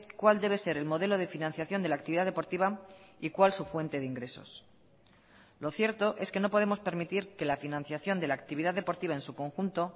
cuál debe ser el modelo de financiación de la actividad deportiva y cuál su fuente de ingresos lo cierto es que no podemos permitir que la financiación de la actividad deportiva en su conjunto